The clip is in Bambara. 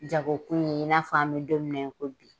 Jagokun in n'a fɔ an bɛ don min na i ko bi.